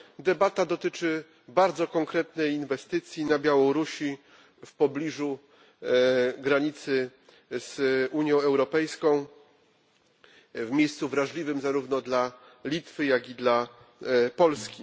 Debata dotyczy bardzo konkretnej inwestycji na Białorusi, w pobliżu granicy z Unią Europejską, w miejscu wrażliwym zarówno dla Litwy, jak i dla Polski.